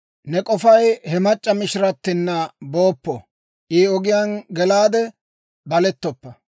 Ne k'ofay he mac'c'a mishiratina booppo; I ogiyaan gelaade balettoppa.